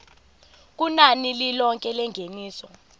kunani lilonke lengeniso